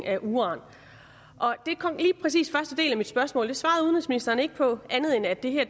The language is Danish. af uran det kom lige præcis i af mit spørgsmål det svarede udenrigsministeren ikke på andet end at det